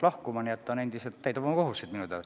Praegu ta minu teada endiselt täidab oma kohustusi.